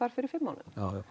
fyrir fimm mánuðum